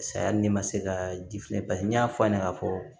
Saya hali ni ma se ka ji filɛ paseke n y'a fɔ a ɲɛna ka fɔ